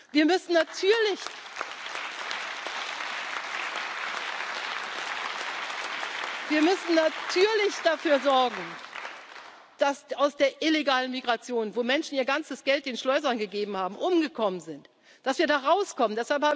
kann? Wir müssen natürlich dafür sorgen, dass wir aus der illegalen Migration, wo Menschen ihr ganzes Geld den Schleusern gegeben haben, umgekommen sind, dass wir da rauskommen.